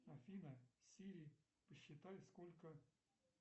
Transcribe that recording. афина сири посчитай сколько